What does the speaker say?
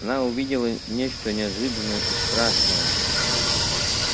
она увидела нечто неожиданное и страшное